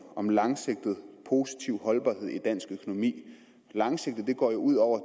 om langsigtet positiv holdbarhed i dansk økonomi langsigtet går jo ud over